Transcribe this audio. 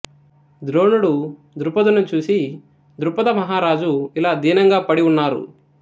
ద్రోణుడు దృపదుని చూసి దృపద మహారాజు ఇలా దీనంగా పడి ఉన్నారు